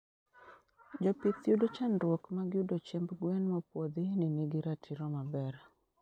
Jopith yudo chandruok mag yudo chiemb gwen mopuodhi ni nigi ratiro maber